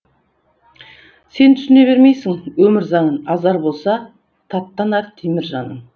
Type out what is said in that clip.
сен түсіне бермейсің өмір заңын азар болса таттанар темір жаның